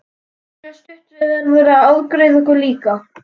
Lína stutta verður að afgreiða okkur líka.